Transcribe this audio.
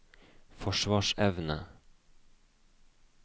forsvarsevne